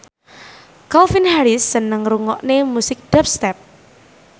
Calvin Harris seneng ngrungokne musik dubstep